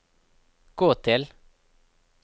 gå til